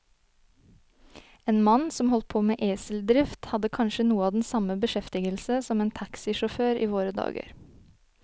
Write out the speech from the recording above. En mann som holdt på med eseldrift, hadde kanskje noe av den samme beskjeftigelse som en taxisjåfør i våre dager.